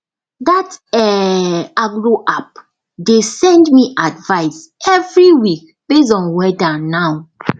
that um agro app dey send me advice every week based on weather now